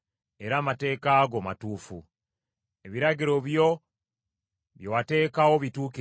Ebiragiro byo bye wateekawo bituukirivu, era byesigibwa.